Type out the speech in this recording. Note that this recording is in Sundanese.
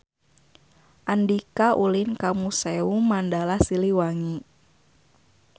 Andika ulin ka Museum Mandala Siliwangi